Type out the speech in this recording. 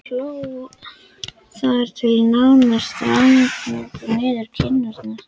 Hún hló og hló þar til tárin streymdu niður kinnarnar.